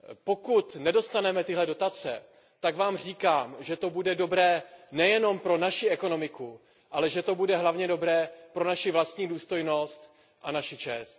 Pokud nedostaneme tyhle dotace, tak vám říkám, že to bude dobré nejenom pro naši ekonomiku, ale že to bude hlavně dobré pro naši vlastní důstojnost a naši čest.